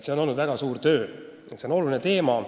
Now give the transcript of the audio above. See on väga suur töö olnud ja see on oluline teema.